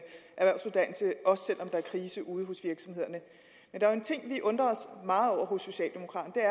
krise ude hos virksomhederne men der er en ting vi undrer os meget over hos socialdemokraterne